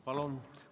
Palun!